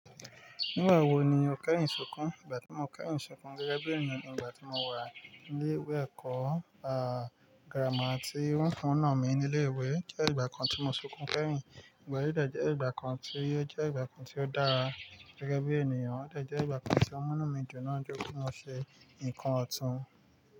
Nígbà wo ni o kẹ́yin sunkún? Ìgbà tí mo kẹ́yinn sunkún gẹ́gẹ́ bí ènìyàn ni ìgbà tí mo wà ní ilé ìwé ẹ̀kọ́, girama tí wọ́n fun ún náà mi ní ilé ìwé, jẹ́ ìgbà kan tí mo sunkún kẹ́hin. Ìgbà yí dejẹ́ ìgbà kan tí ó jẹ́ ìgbà kan tí ó dára. Gẹ́gẹ́ bí ènìyàn, ó dejẹ́ ìgbà kan tí ọmọ́nú mì jù náà jókòó mo ṣe nǹkan ọ̀tún.